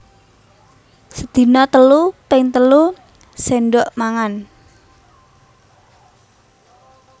Sedina telu ping telu séndhok mangan